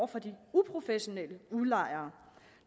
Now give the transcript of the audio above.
for de uprofessionelle udlejere